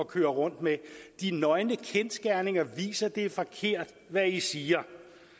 køre rundt med de nøgne kendsgerninger viser det er forkert hvad i siger